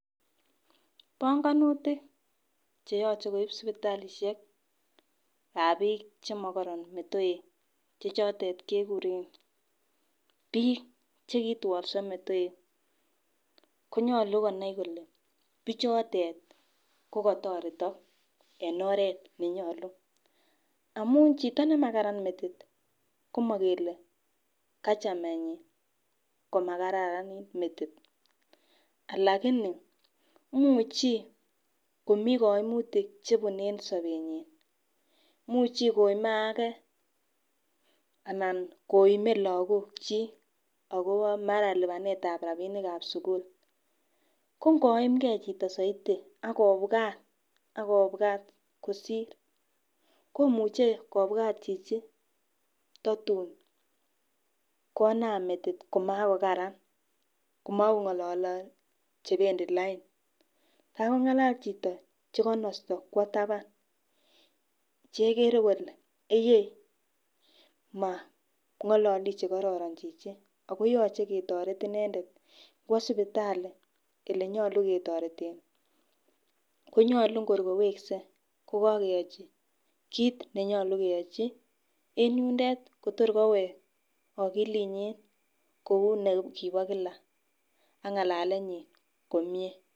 Bongonutik cheyoche koib sipitalishekab bik chemokorn metoek chechotet kekuren bik chekitwolso metoek konyolu konai kole bichotet ko kotoretok en oret nenyolu amun chito nemakaran metit komokele kachamenyin komakararan metit lakini imuchi komii kimiutik chebune en sobenyin imuche komie age ana komie lokok chik ako mara lipanetab rabinikab sukul ko ngoimgee chito soiti ak kobwat kosir komuche kobwat chichi totun konam metit komakokara komokongolole ngalek chebendii lain takongala chito chekonosto kwo taban chekere kole eyee mongolole chekororon chichi ako yoche ketoret inendet kwo sipitali olenyolu ketoreten. Konyoluu kor kowekse kokokeyochi kit nenyolu keyochi en yundet Kotor kowek okilinyin kou nekibo kila ak ngalalenyin komie.